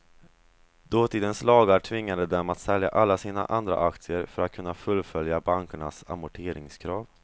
Dåtidens lagar tvingade dem att sälja alla sina andra aktier för att kunna fullfölja bankernas amorteringskrav.